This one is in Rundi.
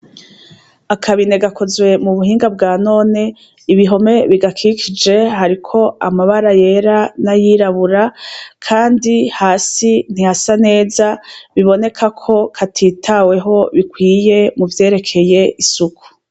Akabine gakozwe mu buhinga bwa none ibihome bigakikije hariko amabara yera nayirabura, kandi hasi ntihasa neza biboneka ko katitaweho bikwiye muvyerekeye isuku.